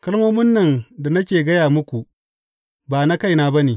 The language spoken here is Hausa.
Kalmomin da nake gaya muku ba na kaina ba ne.